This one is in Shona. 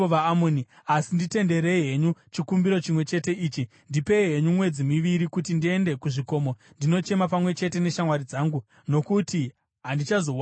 Asi nditenderei henyu chikumbiro chimwe chete ichi. Ndipei henyu mwedzi miviri kuti ndiende kuzvikomo ndinochema pamwe chete neshamwari dzangu, nokuti handichazowanikwi.”